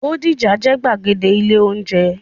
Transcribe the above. Bódìjà jẹ́ gbàgede ilé-oúnjẹ.